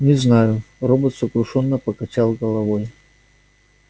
не знаю робот сокрушённо покачал головой